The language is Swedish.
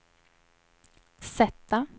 sätta